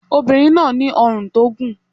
Ọmọbìnrin náà ní ọrùn tó gùn.